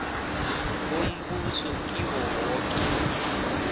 bombuso kiwo woke